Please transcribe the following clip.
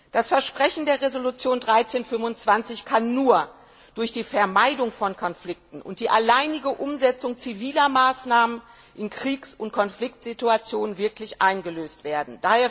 Das Versprechen der Resolution 1325 kann nur durch die Vermeidung von Konflikten und die alleinige Umsetzung ziviler Maßnahmen in Kriegs und Konfliktsituationen wirklich eingelöst werden.